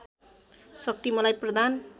शक्ति मलाई प्रदान